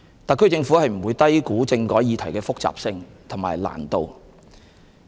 特區政府不會低估政改議題的複雜性和難度。